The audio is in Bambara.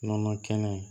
Nɔnɔ kɛnɛ